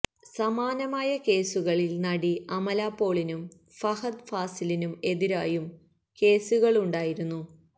സമാനമായ കേസുകളിൽ നടി അമല പോളിനും ഫഹദ് ഫാസിലിനും എതിരായും കേസുകളുണ്ടായിരുന്നു